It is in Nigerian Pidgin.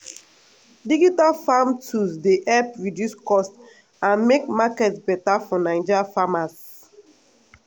digital farm tools dey help reduce cost and make market beta for naija farmers.